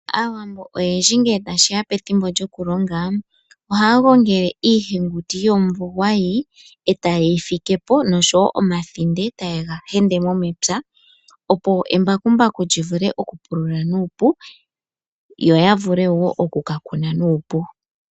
Aawambo oyendji ngele ta shi ya pethimbo lyoku longa, oha ya gongele iihenguti yomuvo gwayi, eta ye yi firepo , osho woo omathinde eta ye ga hendemo mepya opo ombakumbaku li vule oku pulula nuupu, yo ya vule woo oku ka Kuna nuupu.